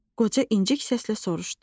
Qoca incik səslə soruşdu.